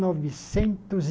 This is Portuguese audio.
Novecentos e